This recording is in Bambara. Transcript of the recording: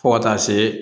Fo ka taa se